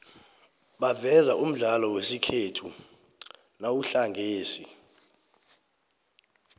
baveza umdlalo wesikhethu nomuhlangesi